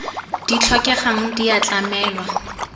di tlhokegang di a tlamelwa